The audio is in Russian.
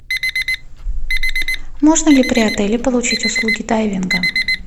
можно ли при отеле получить услуги дайвинга